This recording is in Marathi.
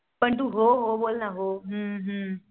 पण तू हो हो बोल ना हू हू.